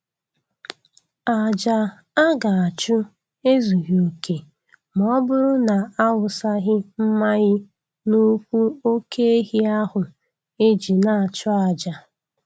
Ajà a ga-achụ ezughị oke ma ọ bụrụ na awụsaghi mmayị n'ụkwụ oke ehi ahụ e ji na-achụ aja